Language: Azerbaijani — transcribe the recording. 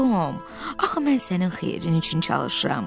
Tom, axı mən sənin xeyrin üçün çalışıram.